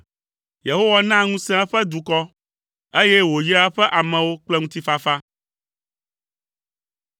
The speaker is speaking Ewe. Yehowa naa ŋusẽ eƒe dukɔ; eye wòyraa eƒe amewo kple ŋutifafa.